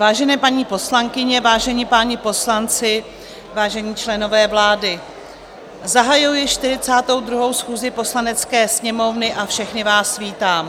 Vážené paní poslankyně, vážení páni poslanci, vážení členové vlády, zahajuji 42. schůzi Poslanecké sněmovny a všechny vás vítám.